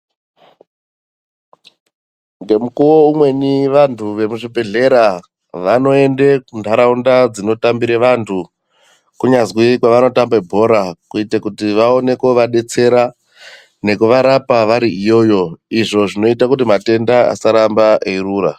Ngemukuwo umweni vantu vemuzvibhedhkeya vanoende kunotambire antu kunyazwi kwavanotambire bhora kuite kuti vaone kovadetsera nekuvarapa vari iyoyo izvo zvinoita kuti matenda asaramba eirura.